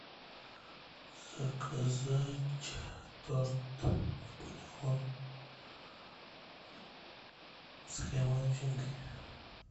заказать торт наполеон с кремовой начинкой